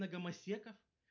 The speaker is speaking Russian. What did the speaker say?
на гомосексуалиста